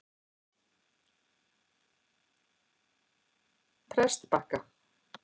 Prestbakka